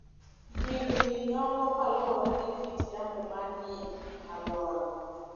Yiengini dongo kaluwore gi kit yamo manie alworago.